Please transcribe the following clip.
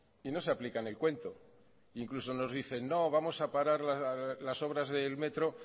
y no se aplican el cuento incluso nos dicen no vamos a parar las obras del metro